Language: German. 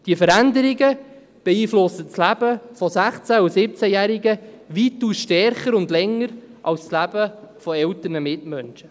Diese Veränderungen beeinflussen das Leben von 16- und 17-Jährigen weitaus stärker und länger als das Leben von älteren Mitmenschen.